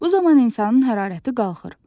Bu zaman insanın hərarəti qalxır.